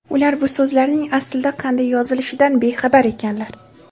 ular bu so‘zlarning aslida qanday yozilishidan bexabar ekanlar.